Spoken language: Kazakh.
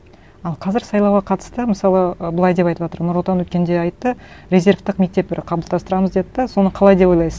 ал қазір сайлауға қатысты мысалы ы былай деп айтыватыр нұр отан өткенде айтты резервтік мектеп бір қалыптастырамыз деді де соны қалай деп ойлайсыз